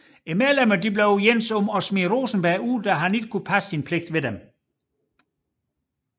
Medlemmerne blev enige om at smide Rosenberg ud da han ikke kunne passe sin pligt ved dem